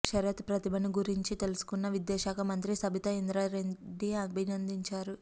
శరత్ ప్రతిభను గురించి తెలుసుకున్న విద్యా శాఖ మంత్రి సబితా ఇంద్రారెడ్డి అభినందించారు